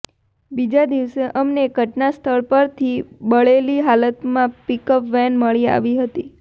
બીજા દિવસે અમને ઘટનાસ્થળ પરથી બળેલી હાલતમાં પિકઅપ વેન મળી આવી હતી